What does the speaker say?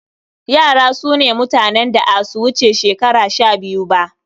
Yara su ne mutanen da a su wuce shekara shabiyu ba.